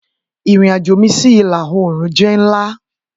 Irin ajo mi si ila-oorun jẹ nla.